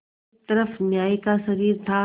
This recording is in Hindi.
एक तरफ न्याय का शरीर था